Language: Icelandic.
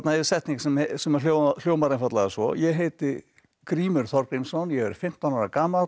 er setning sem sem hljómar hljómar einfaldlega svo ég heiti Grímur Þorgrímsson ég er fimmtán ára gamall og